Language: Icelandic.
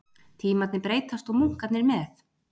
Tímarnir breytast og munkarnir með